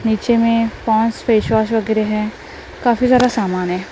नीचे में पांच फेस वॉश वगैरह हैं काफी सारा सामान है।